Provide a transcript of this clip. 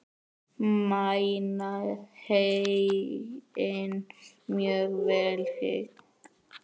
Mæna heyið mjög vel hygg.